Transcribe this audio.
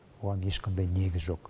оған ешқандай негіз жоқ